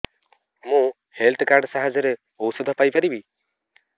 ମୁଁ health card ସାହାଯ୍ୟରେ ଔଷଧ ପାଇ ପାରିବି